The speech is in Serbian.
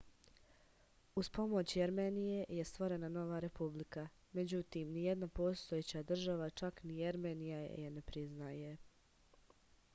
uz pomoć jermenije je stvorena nova republika međutim nijedna postojeća država čak ni jermenija je ne priznaje